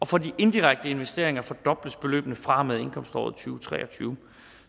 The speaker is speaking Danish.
for de indirekte investeringer fordobles beløbene fra og med indkomståret to tusind og tre og tyve